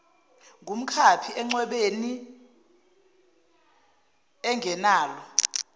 ngumkhaphi encwebeni engenalo